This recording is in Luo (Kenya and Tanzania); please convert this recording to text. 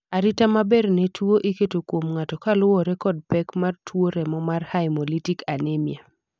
arita maber ne tuo iketo kuom ng'ato kaluwore kod pek mar tuo remo mar haemolytic anemia